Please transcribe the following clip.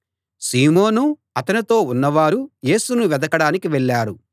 సీమోను అతనితో ఉన్నవారు యేసును వెదకడానికి వెళ్ళారు